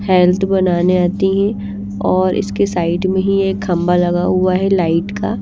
health बनाने आती हैं और इसके साइड में ही एक खंबा लगा हुआ है लाइट का--